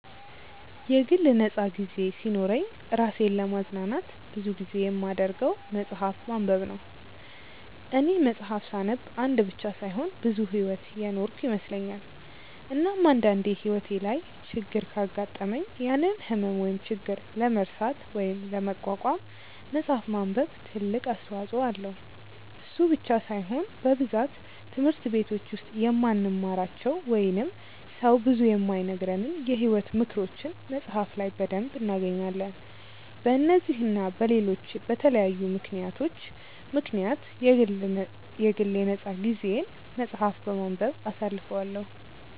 የግል ነፃ ጊዜ ሲኖረኝ እራሴን ለማዝናናት ብዙ ጊዜ የማደርገው መፅሐፍ ማንበብ ነው፦ እኔ መፅሐፍ ሳነብ አንድ ብቻ ሳይሆን ብዙ ሕይወት የኖርኩ ይመስለኛል፤ እናም አንድ አንዴ ሕይወቴ ላይ ችግር ካጋጠመኝ ያንን ህመም ወይም ችግር ለመርሳት ወይም ለመቋቋም መፅሐፍ ማንበብ ትልቅ አስተዋጽኦ አለው፤ እሱ ብቻ ሳይሆን በብዛት ትምህርት በቲች ውስጥ የማንማራቸው ወይንም ሰው ብዙ የማይነግረንን የሕይወት ምክሮችን መፅሐፍ ላይ በደንብ እናገኛለን፤ በነዚህ እና በለሎች በተለያዩ ምክንያቶች ምክንያት የግል የ ነፃ ጊዜየን መፅሐፍ በማንበብ አሳልፈዋለው።